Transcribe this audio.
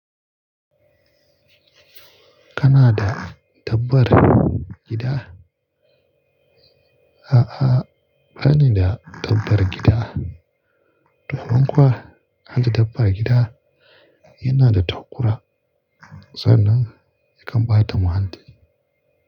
Kana da dabbar gida? A'a, bani da dabbar gida. Tuhun kuwa, harda dabba a gida yana da tauƙura, sannan yakan ba da muhalli.